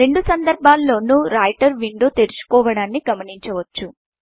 రెండు సందర్భాల్లోనూ writer window తెరుచుకోవడాన్ని గమనించవచ్చు